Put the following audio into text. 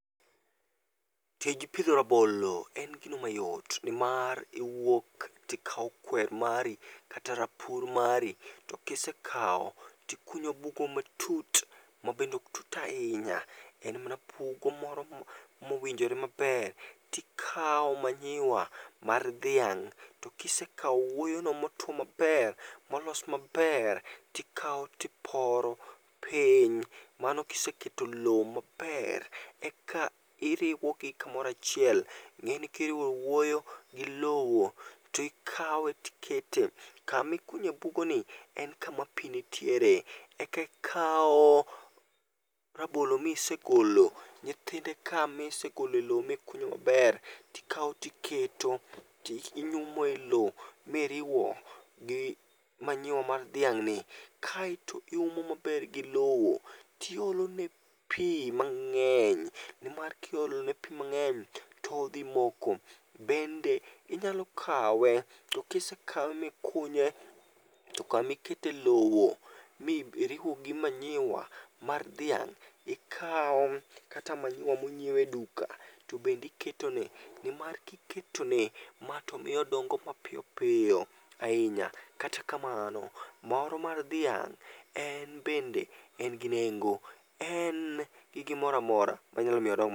Tij pidho rabolo en gino mayot nimar iwuok tikaw kwer mari kata rapur mari, to kisekaw tikunyo bugo matut mabende ok tut ahinya, en mana pugo moro mo mowinjore maber. Tikaw manyiwa mar dhiang', to kisekaw owuoyono motuo maper, molos maper tikaw tiporo piny, mano kiseketo lo maper. Eka iriwogi kamoro achiel, ing'eni kiriwo owuoyo gi lowo tikawe tikete. Kamikunye bugo ni en kama pi nitiere, eka ikaw rabolo misegolo nyithinde ka misegolo elo mikunyo maber tikaw tiketo ti inyumo elo miriwo gi manyiwa mar dhiang' ni kaeto iumo maber gi lowo. Tiolo ne pii mang'eny nimar kiolo ne pi mang'eny todhi moko. Bende inyalo kawe, to kisekawe mikunye to kamikete e lowo mi iriwo gi manyiwa mar dhiang' ikaw kata manyiwa mong'iew e duka to bende iketone. Nimar kiketo ne ma tomiyo odongo mapiyopiyo ahinya. Kata kamano, maoro mar dhiang' en bende, en gi nengo, en gi gimoro amora manyalo miyo odong